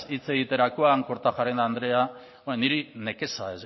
hitz egiterakoan kortajarena andrea niri nekeza